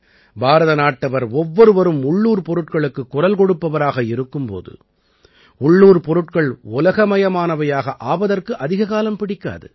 பாரதநாட்டவர் ஒவ்வொருவரும் உள்ளூர்ப் பொருட்களுக்குக் குரல் கொடுப்பவராக இருக்கும் போது உள்ளூர்ப் பொருட்கள் உலகமயமானவையாக ஆவதற்கு அதிக காலம் பிடிக்காது